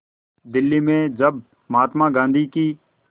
दिल्ली में जब महात्मा गांधी की